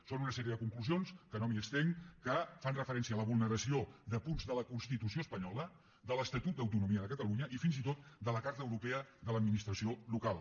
són una sèrie de conclusions que no m’hi estenc que fan referència a la vulneració de punts de la constitució espanyola de l’estatut d’autonomia de catalunya i fins i tot de la carta europea de l’administració local